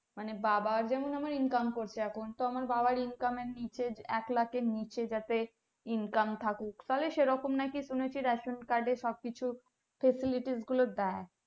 মানে বাবা যেমন income করছে এখন তো আমার বাবার income এর নিচে এক লাক্ষ এর নিচে যাতে income থাকুক ফলে সেরকম নাকি ration card এ সব কিছু facility গুলো দেই